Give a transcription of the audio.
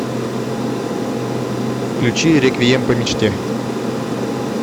включи реквием по мечте